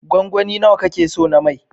Gwangwani nawa ka ke so na mai?